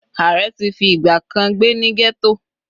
Ààrẹ ti fi ìgbà kan gbé ní ghetto.